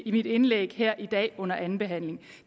i mit indlæg her i dag under andenbehandlingen